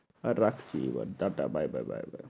হ্যাঁ এবার দাদা, bye bye bye bye